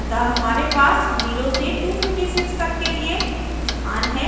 अतः हमारे पास 0 से 256 तक के लिए स्थान है